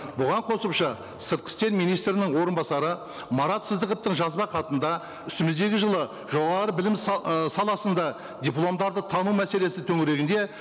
бұған қосымша сыртқы істер министрінің орынбасары марат сыздықовтың жазба хатында үстіміздегі жылы жоғары білім ы саласында дипломдарды тану мәселесі төңірегінде